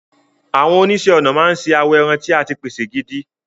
Àwọn oníṣẹ́ ọnà máa ń ṣe awọ ẹran tí a ti pèsè gidi.